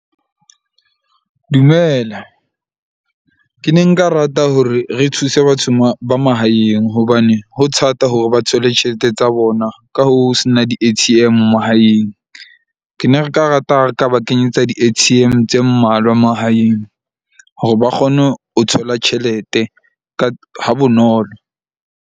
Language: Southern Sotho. Dumela, ke ne nka rata hore re thuse batho ba mahaeng, hobane ho thata hore ba thole tjhelete tsa bona. Ka ho se na di-A_T_M mahaeng. Ke ne re ka rata ha re ka ba kenyetsa di-A_T_M tse mmalwa mahaeng, hore ba kgone ho thola tjhelete ka ha bonolo.